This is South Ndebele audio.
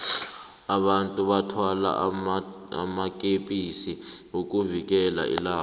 abantu bathwala amakepisi ukuvikela ilanga